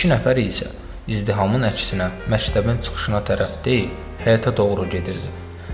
İki nəfər isə izdihamın əksinə, məktəbin çıxışına tərəf deyil, həyətə doğru gedirdi.